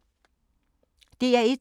DR1